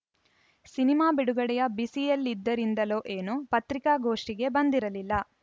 cinema ಬಿಡುಗಡೆಯ ಬಿಸಿಯಲ್ಲಿದ್ದರಿಂದಲೋ ಏನೋ ಪತ್ರಿಕಾಗೋಷ್ಟಿಗೆ ಬಂದಿರಲಿಲ್ಲ